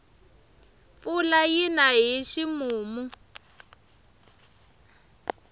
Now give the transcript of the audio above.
mpfula yina hi ximumu